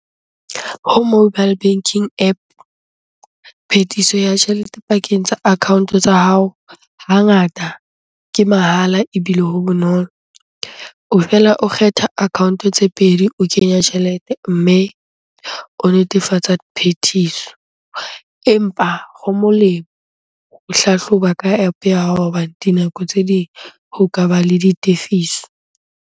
Ho mobile banking App, phethiso ya tjhelete pakeng tsa account-o tsa hao hangata ke mahala ebile ho bonolo. O fela o kgetha account-o tse pedi o kenya tjhelete, mme o netefatsa phethiso. Empa ho molemo o hlahloba ka App-o ya hao hoba dinako tse ding ho ka ba le ditefiso.